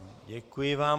Děkuji vám.